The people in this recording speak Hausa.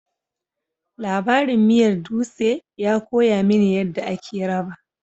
Labarin miyar dutse ya koya mini yadda ake raba